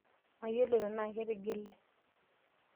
Mayiolo tenaa ketigile.